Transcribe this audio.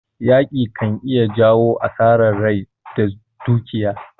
Yaƙi ka iya jawo asarar rai da dukiya.